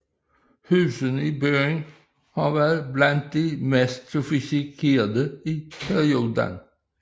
Husene i byen har været blandt de mest sofistikerede i perioden